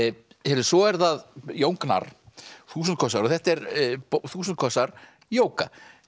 svo er það Jón Gnarr þúsund kossar þetta eru þúsund kossar jóga